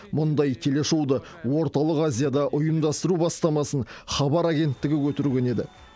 мұндай телешоуды орталық азияда ұйымдастыру бастамасын хабар агенттігі көтерген еді